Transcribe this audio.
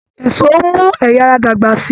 Èso n mú ẹyà ara dàgbà sí.